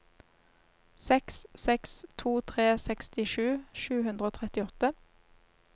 seks seks to tre sekstisju sju hundre og trettiåtte